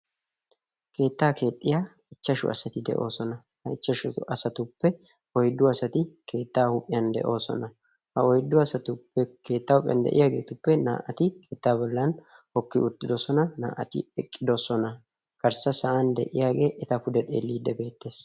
Keettaa keexxiya ichchashu asati de'oosona. Ha asatuppe oyddu asati keettaa huuphiyan de'oosona. Ha oyddu asatuppe keetta huuphiyan de'iyageetuppe naa''ati naa''ati hookidosona, naa''ati eqqidosona, garssa sa'an de'iyaagee eta pude xeeliidi beetees.